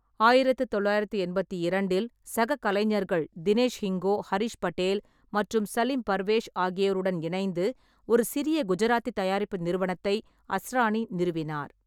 ஆயிரத்து தொள்ளாயிரத்து எண்பத்தி இரண்டில், சக கலைஞர்கள் தினேஷ் ஹிங்கோ, ஹரிஷ் பட்டேல் மற்றும் சலீம் பர்வேஸ் ஆகியோருடன் இணைந்து ஒரு சிறிய குஜராத்தி தயாரிப்பு நிறுவனத்தை அஸ்ரானி நிறுவினார்.